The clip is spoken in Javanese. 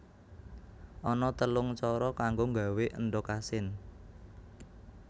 Ana telung cara kanggo nggawé endhog asin